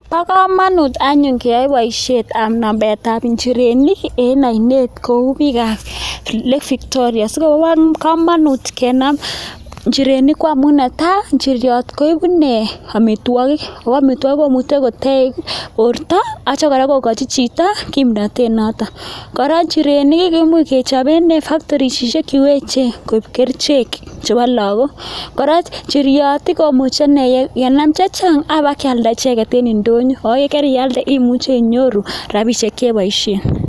Bo kamanut anyun keyai boisiet amun nametab nchirenik eng oinet kou biikab Lake Victoria, so bo kamanut kenam nchirenik ko amun ne tai, nchiriot koeku ine amitwokik, ko amitwokik komuchei kotech borto atyo kora kokochi chito kimnotet noto. Kora, nchirenik komuch kechop eng factorishek che echen koip kerichek chebo lakok, kora, nchiriot komuche kenam chechang apa kealda icheket eng indonyo ako keria ialde imuchei inyoru rapishek che poishen.